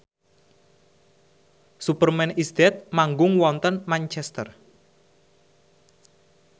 Superman is Dead manggung wonten Manchester